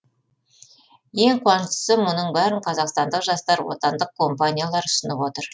ең қуаныштысы мұның бәрін қазақстандық жастар отандық компаниялар ұсынып отыр